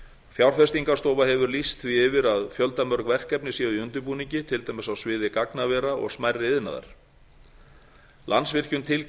fjárfestingarstofa hefur lýst því yfir að fjöldamörg verkefni séu í undirbúningi til dæmis á sviði gagnavera og smærri iðnaðar landsvirkjun